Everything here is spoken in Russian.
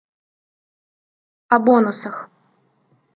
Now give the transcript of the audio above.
о бонусах